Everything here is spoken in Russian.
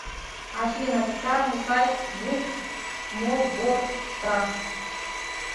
афина официальный сайт гуп мосгортранс